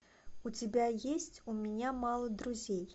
у тебя есть у меня мало друзей